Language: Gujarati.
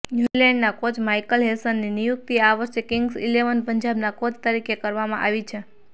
ન્યુઝીલેન્ડના કોચ માઈકલ હેસનની નિયુક્તિ આ વર્ષે કિંગ્સ ઈલેવન પંજાબના કોચ તરીકે કરવામાં આવી છે